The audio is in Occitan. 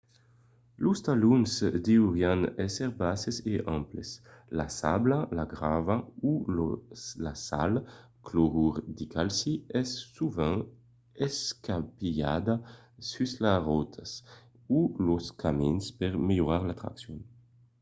los talons deurián èsser basses e amples. la sabla la grava o la sal clorur de calci es sovent escampilhada sus las rotas o los camins per melhorar la traccion